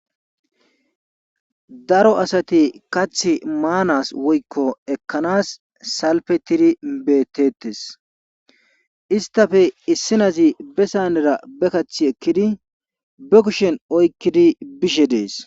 Daro asati kaththi maanas woy ekkanas salfetidi beetees. istappe issi naazi be saanera be kaththi ekkidi be kushen oykkidi bishi dees.